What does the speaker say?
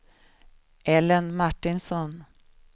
Ellen Martinsson